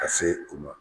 Ka se u ma